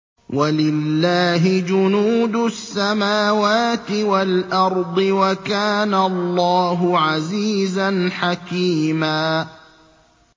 وَلِلَّهِ جُنُودُ السَّمَاوَاتِ وَالْأَرْضِ ۚ وَكَانَ اللَّهُ عَزِيزًا حَكِيمًا